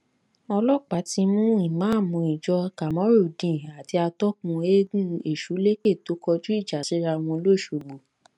ọlọpàá ti mú ìmáàmù ìjọ kamorudeen àti atọkùn eegun esuleke tó kọjú ìjà síra wọn lọsogbó